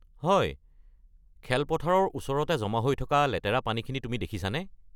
হয়, খেলপথাৰৰ ওচৰতে জমা হৈ থকা লেতেৰা পানীখিনি তুমি দেখিছানে?